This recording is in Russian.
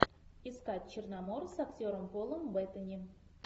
искать черномор с актером полом беттани